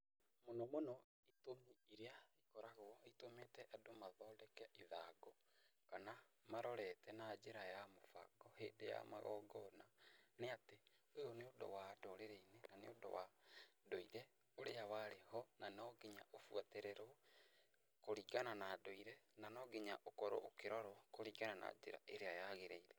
Mũno mũno itũmi iria ikoragwo itũmĩte andũ mathondeke ithangũ kana marorete na njĩra ya mũbango hĩndĩ ya magongona, nĩ atĩ ũyũ nĩ ũndũ wa ndũrĩrĩ-inĩ na nĩ ũndũ wa ndũire ũrĩa warĩ ho, na no nginya ũbuatĩrĩrwo, kũringana na ndũire, na no nginya ũkorwo ũkĩrorwo kũringana na njĩra ĩrĩa yagĩrĩire.